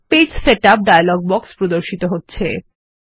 পৃষ্ঠা setup dialog বাক্স প্রদর্শিত হচ্ছে